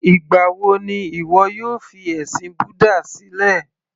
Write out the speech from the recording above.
Ìgbà wo ni ìwọ yóò fi ẹ̀sìn búdà sílẹ̀